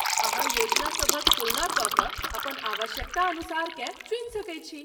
अहाँ योजनसभक तुलना कए कऽ अपन आवश्यकतानुसारकेँ चुनि सकैत छी।